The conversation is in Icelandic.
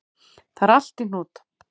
Það er allt í hnút